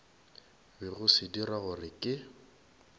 bego se dira gore ke